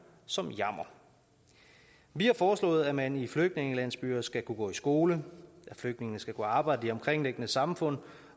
som jammer vi har foreslået at man i flygtningelandsbyer skal kunne gå i skole at flygtningene skal kunne arbejde i det omkringliggende samfund